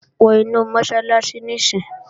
Wọ inu Mọ́sálásí níìsín!